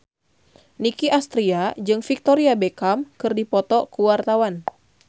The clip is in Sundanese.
Nicky Astria jeung Victoria Beckham keur dipoto ku wartawan